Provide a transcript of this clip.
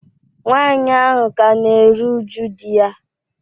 nwaanyị ahụ ka na-eru uju di ya